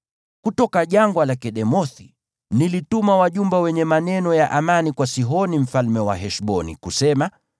Kutoka jangwa la Kedemothi nilituma wajumbe wenye maneno ya amani kwa Sihoni mfalme wa Heshboni kusema,